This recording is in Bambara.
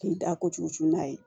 K'i da kojugu cun n'a ye